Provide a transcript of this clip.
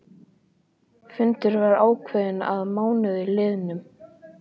Fundur var ákveðinn að mánuði liðnum.